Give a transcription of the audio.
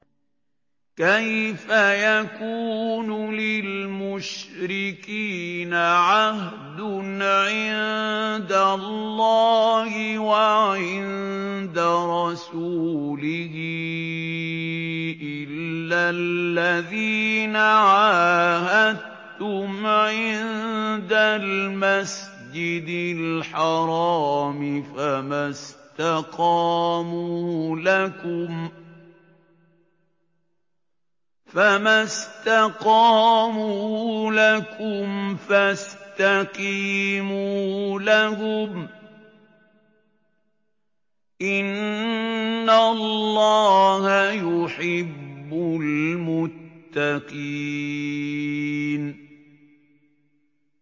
كَيْفَ يَكُونُ لِلْمُشْرِكِينَ عَهْدٌ عِندَ اللَّهِ وَعِندَ رَسُولِهِ إِلَّا الَّذِينَ عَاهَدتُّمْ عِندَ الْمَسْجِدِ الْحَرَامِ ۖ فَمَا اسْتَقَامُوا لَكُمْ فَاسْتَقِيمُوا لَهُمْ ۚ إِنَّ اللَّهَ يُحِبُّ الْمُتَّقِينَ